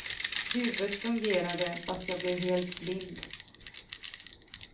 Huvudet fungerade, fast jag blev helt blind.